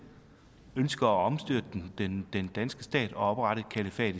ønsker at omstyrte den danske stat og oprette et kalifat